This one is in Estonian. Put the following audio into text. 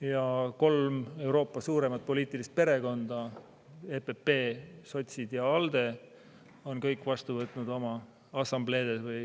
Ja kolm Euroopa suurimat poliitilist perekonda – EPP, sotsid ja ALDE – on kõik vastu võtnud oma assambleedes või